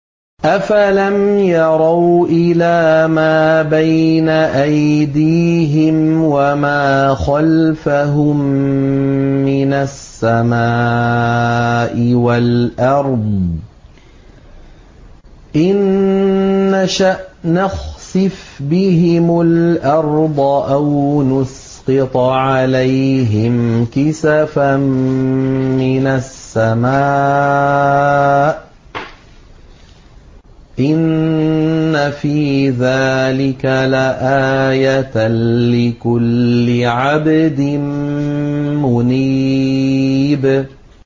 أَفَلَمْ يَرَوْا إِلَىٰ مَا بَيْنَ أَيْدِيهِمْ وَمَا خَلْفَهُم مِّنَ السَّمَاءِ وَالْأَرْضِ ۚ إِن نَّشَأْ نَخْسِفْ بِهِمُ الْأَرْضَ أَوْ نُسْقِطْ عَلَيْهِمْ كِسَفًا مِّنَ السَّمَاءِ ۚ إِنَّ فِي ذَٰلِكَ لَآيَةً لِّكُلِّ عَبْدٍ مُّنِيبٍ